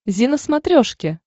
зи на смотрешке